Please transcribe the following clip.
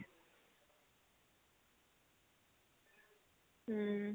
hm